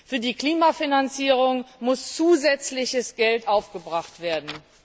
Für die Klimafinanzierung muss zusätzliches Geld aufgebracht werden.